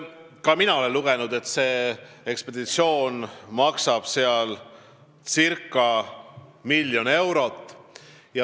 Ka mina olen lugenud, et see ekspeditsioon maksab seal circa miljon eurot.